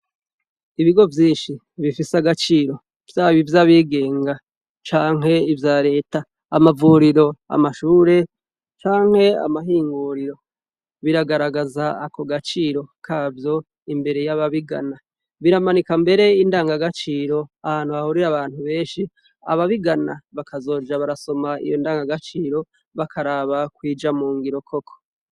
Ibigo vyinshi bifise agaciro byab ivy'abigenga canke ivya leta, amavuriro amashure canke amahinguriro, biragaragaza ako gaciro kavyo imbere y'ababigana, biramanika mbere indanga gaciro ahantu hahurire abantu benshi ababigana bakazoja barasoma iyo ndangagaciro bakaraba kwija mu ngiro koko.